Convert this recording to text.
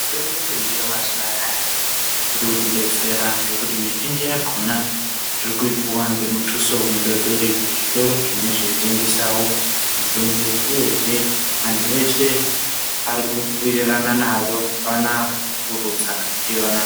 Mitombo yemazuva anaya irikutidetsera ngokuti mizhinji yakona tirikuipuwa ngemutuso mudodori zvitoro zvinenge zvaitengese mitombo uyezve vantu veshe varikuwirirana nayo apana arikurutsa ndiyo.